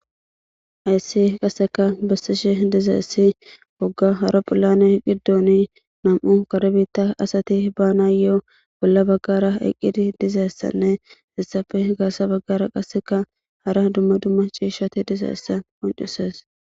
Ayssi qaseka bassishe dizaessi wogga hara phullane qiddooni nam7u karbitta asati baana yoo bolla baggara eqqidi dizaessanne hissafe gaasa baggara qaseka hara dumma dumma ciishshati dizaessa oncises.